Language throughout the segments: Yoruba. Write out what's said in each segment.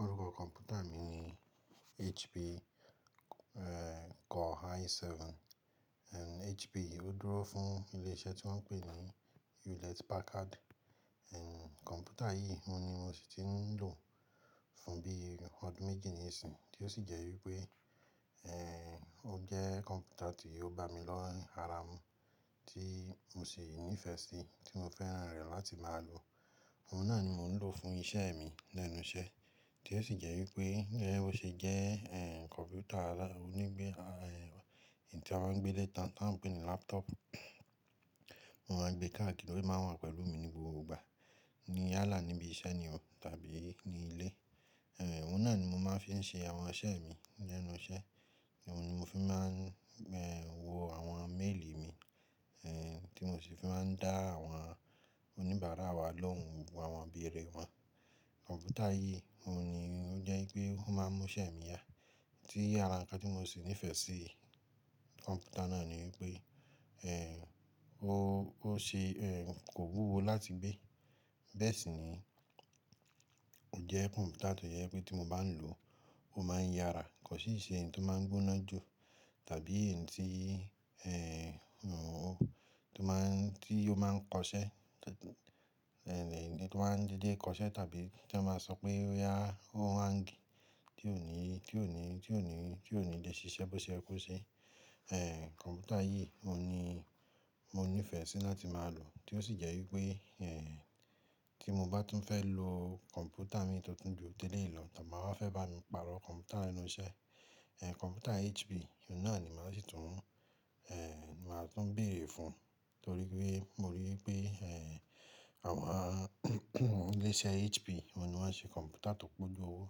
Orúkọ kọ̀mpútà mi ni HP, Core i7. HP i ó dúró fún ilé iṣẹ́ tí wọ́n pè ní Hewlett Packard. Kọ̀mpútà yìí ohun ni mo sì ti ń lò fún bí ọdún méjì nisinyìí, tí ó sì jẹ́ wípé, ó jẹ́ kọ̀mpútà tí ó bá mi lọ́ ń ara mu tí mo sì nífẹ̀ẹ́ sí, tí mo fẹ́ràn rẹ̀ láti máa lò. Òun náà ni mò ń lò fún iṣẹ́ mi lẹ́nu iṣẹ́, tí ó sì jẹ́ wípé, ẹ́, ó ṣe jẹ́, ẹ́, kọ̀mpútà alá-- onígbẹ, ẹ́, èyí tí wọ́n ń gbé létan tí wọ́n pè ní laptop. Mo máa n gbé káàkì odẹ máa ń wà pẹ̀lú mi ní gbogbo ìgbà níyálà níbi iṣẹ́ ni o tàbí ní ilé. Ẹ̀, òun náà ni mo máa ń fi ń ṣe àwọn iṣẹ́ mi lẹ́nu iṣẹ́. Òun ni mo fi máa ń, ẹ́, wo àwọn méèlì mi, ẹ́, tí mo sì fi máa ń dá àwọn oníbàárà wa lóhùn gbogbo àwọn bí eré wọn. Kọ̀mpútà yìí, òun ni ó jẹ́ wípé ó máa ń mú iṣẹ́ mi yá. Tí ará ńkán tí mo sì nífẹ̀ẹ́ sí ni kọ̀mpútà náà ni wípé, ẹ́, ó, ó ṣe, ẹ́, kò wúwo láti gbé. Bẹ́ẹ̀ sì ni ó jẹ́ kọ̀mpútà tó jẹ́ wípé tí mo bá ń lò ó máa ń yára, kò sì ṣe èyí tó máa ń gbóná jù tàbí èyí tí, ẹ́, òun, tó máa ń, tí ó máa ń kọṣẹ́, ẹ́, ní, ní, tó máa ń dídé kọṣẹ́ tàbí tí ẹ máa sọ pé ó yá, ó máa ń gbi tí ò ní, tí ò ní, tí ò ní, tí ò ní lè ṣiṣẹ́ bó ṣe yẹ kó ṣe. Ẹ̀, kọ̀mpútà yìí mo ni mo nífẹ̀ẹ́ sí láti máa lò, tí ó sì jẹ́ wípé, ẹ́, tí mo bá tún fẹ́ lò kọ̀mpútà mi tó tún bí òtélé lọ tàbí máa fẹ́ bá nu pàrọ̀ kọ̀mpútà lẹ́nu iṣẹ́, ẹ́, kọ̀mpútà HP, òun náà ni màá sì tún, ẹ́, máa tún béèrè fún torí pé mo rí wi pé, ẹ́, àwọn ilé iṣẹ́ HP, wọ́n ni wọ́n ṣe kọ̀mpútà tó pọ̀ gbó owó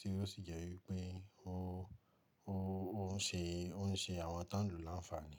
tí ó sì jẹ́ wípé ó, ó, ó ń ṣe, ó ń ṣe àwọn tánǹkù láǹfààní.